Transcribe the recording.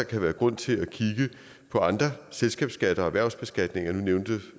kan være grund til at kigge på andre selskabsskatter og erhvervsbeskatning nu nævnte